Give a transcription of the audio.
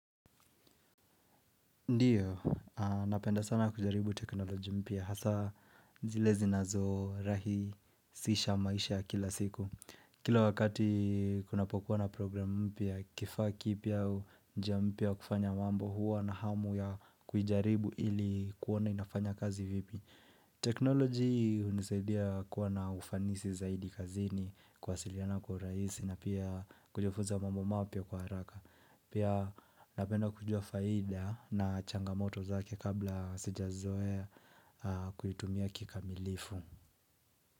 Ndiyo, napenda sana kujaribu teknoloji mpia, hasa zile zinazorahisisha maisha ya kila siku. Kila wakati kunapokuwa na program mpya, kifaa kipya au njia mpya kufanya mambo huwa na hamu ya kujaribu ili kuona inafanya kazi vipi. Teknoloji inasaidia kuwa na ufanisi zaidi kazini, kwasiliana kwa uraisi na pia kujifunza mambo mapya kwa haraka. Pia napenda kujua faida na changamoto zake kabla sijazoea kuitumia kikamilifu.